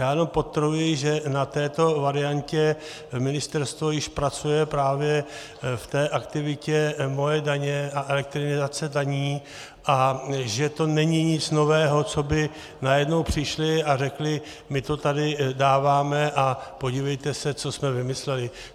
Já jenom podtrhuji, že na této variantě ministerstvo již pracuje právě v té aktivitě Moje daně a elektronizace daní a že to není nic nového, co by najednou přišli a řekli - my to tady dáváme a podívejte se, co jsme vymysleli.